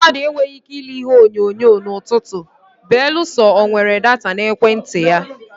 Ndị mmadụ enweghị ike ile Ihe onyonyo na Utuubu belụsọ o nwere data na ekwentị ya.